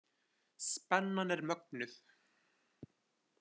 Spennan er mögnuð.